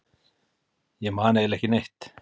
Ég man eiginlega ekki neitt.